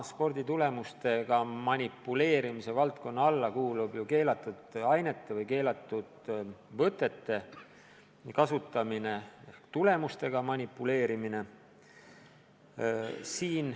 Sporditulemustega manipuleerimise valdkonna alla kuulub ka keelatud ainete või keelatud võtete kasutamine, tulemustega manipuleerimine.